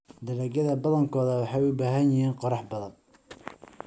Dalagyada badankoodu waxay u baahan yihiin qorrax badan.